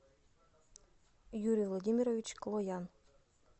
юрий владимирович клоян